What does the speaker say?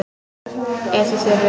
Ef þið þurfið.